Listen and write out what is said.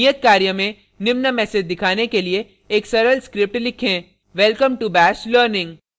नियत कार्य में निम्न message दिखाने के लिए एक सरल script लिखें* welcome to bash learning